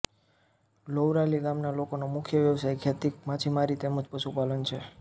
લોવરાલી ગામના લોકોનો મુખ્ય વ્યવસાય ખેતી માછીમારી તેમ જ પશુપાલન છે